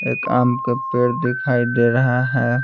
एक आम के पेड़ दिखाई दे रहा है।